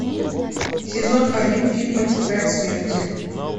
сезон один фильма тетрадь смерти